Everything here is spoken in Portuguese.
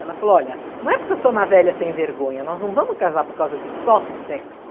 Ela falou, olha, não é porque eu sou uma velha sem vergonha, nós não vamos casar por causa de só sexo.